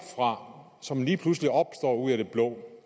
fra som lige pludselig opstår ud af det blå